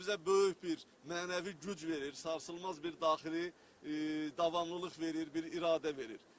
Bu bizə böyük bir mənəvi güc verir, sarsılmaz bir daxili davamlılıq verir, bir iradə verir.